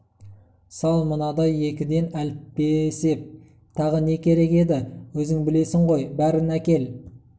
сал мынадан екіден әліппеесеп тағы не керек еді өзің білесің ғой бәрін әкел